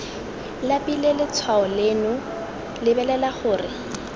labile letshwao leno lebelela gore